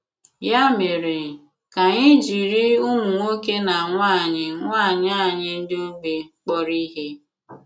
Ya mèré, ka ànyị̀ jiri ùmụ̀ nwòkè na nwànyị̀ nwànyị̀ ànyị̀ ndị ogbi k̀pọ̀rọ̀ ihe!